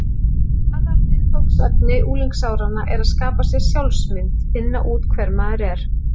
Aðalviðfangsefni unglingsáranna er að skapa sér sjálfsmynd: finna út hver maður er.